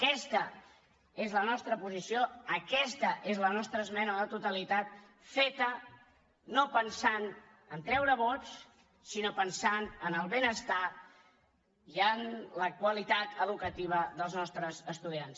aquesta és la nostra posició aquesta és la nostra esmena a la totalitat feta no pensant a treure vots sinó pensant en el benestar i en la qualitat educativa dels nostres estudiants